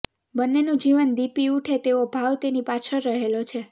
બંનેનું જીવન દીપી ઉઠે તેવો ભાવ તેની પાછળ રહેલો છે